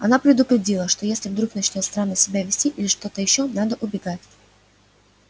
она предупредила что если вдруг начнёт странно себя вести или ещё что надо убегать